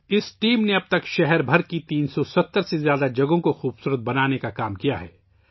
اب تک یہ ٹیم شہر بھر میں 370 سے زائد مقامات کو خوبصورت بنا چکی ہے